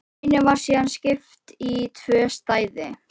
Bænum var síðan skipt í tvö svæði